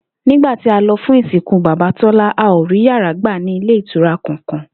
Nígbà tí a lo̩ fún ìsìnkú bàbá Tólá, a ò rí yàrá gbà ní ilé ìtura kankan